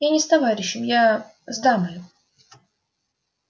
я не с товарищем я с дамою